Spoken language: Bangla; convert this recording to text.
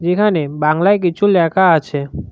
এখানে বাংলায় কিছু লেখা আছে।